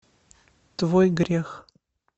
твой грех